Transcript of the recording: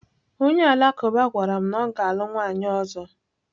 Onye Alakụba gwara m na ọ ga-alụ nwunye ọzọ.